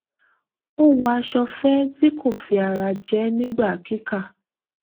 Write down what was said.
ó wọ aṣọ fẹ tí kò fi ara jẹ nígbà kíkà